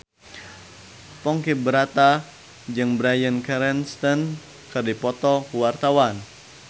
Ponky Brata jeung Bryan Cranston keur dipoto ku wartawan